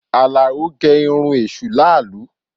Alao gẹ irun èṣù làálu